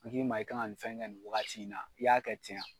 An k'i ma i kan ka nin fɛn kɛ nin wagati in na i y'a kɛ ten ya.